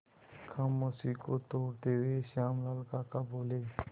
खामोशी को तोड़ते हुए श्यामल काका बोले